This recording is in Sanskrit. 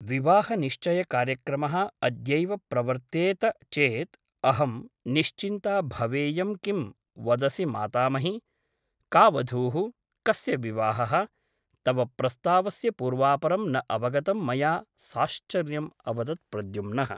विवाहनिश्चयकार्यक्रमः अद्यैव प्रवर्तेत चेत् अहं निश्चिन्ता भवेयम् किं वदसि मातामहि । का वधूः ? कस्य विवाहः ? तव प्रस्तावस्य पूर्वापरं न अवगतं मया साश्चर्यम् अवदत् प्रद्युम्नः ।